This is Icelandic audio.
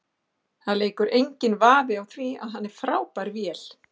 Það leikur enginn vafi á því, hann er frábær vél.